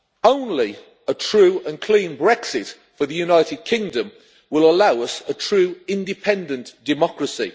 Only a true and clean Brexit for the United Kingdom will allow us a true, independent democracy.